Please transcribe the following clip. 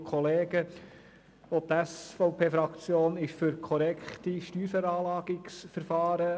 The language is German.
Auch die SVP-Fraktion ist für korrekte Steuerveranlagungsverfahren.